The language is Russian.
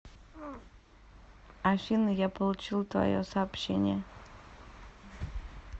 афина я получила твое сообщение